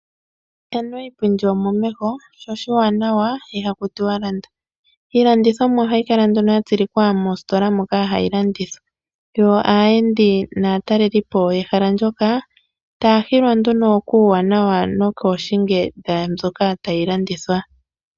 Anuwa iipindi omomeho, sho oshiwanawa iha ku tiwa landa. Iilandithomwa ohayi kala nduno ya tsilikwa moositola moka hayi landithwa, yo aayendi naatalelipo yehala ndyoka taya hilwa nduno kuuwanawa nokooshinge dhaambyoka tayi landithwa.